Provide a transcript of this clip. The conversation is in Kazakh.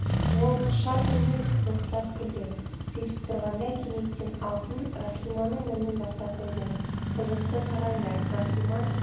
ол шат үнмен сықылықтап күлді сөйтіп тұрғанда кенеттен алтын рахиманың мұрнын баса қойды қызықты қараңдар рахима